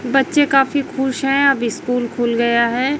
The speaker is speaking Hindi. बच्चे काफी खुश है अब स्कूल खुल गया है।